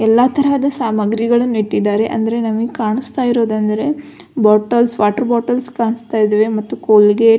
ಎಲ್ಲ ತರಹದ ಸಾಮಾಗ್ರಿಗಳನ್ನು ಇಟ್ಟಿದ್ದಾರೆ ಅಂದ್ರೆ ನಮ್ಗೆ ಕಾಣಿಸ್ತಾ ಇರೋದು ಅಂದ್ರೆ ಬೋಟಲ್ಸ್ ವಾಟರ್ ಬೋಟಲ್ಸ್ ಕಾಣಿಸ್ತಾ ಇದಾವೆ ಮತ್ತೆ ಕೋಲ್ಗೇಟ್ --